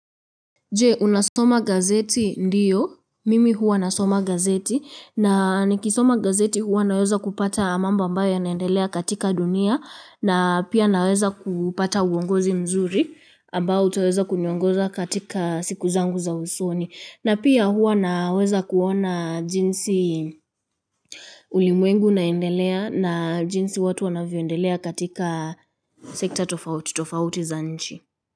Je unasoma gazeti ndiyo mimi huwa nasoma gazeti na nikisoma gazeti huwa naweza kupata mambo ambayo yanaendelea katika dunia na pia naweza kupata uongozi mzuri ambao utaweza kuniongoza katika siku zangu za usoni na pia huwa naweza kuona jinsi ulimwengu unaendelea na jinsi watu wanavyoendelea katika sekta tofauti tofauti za nchi.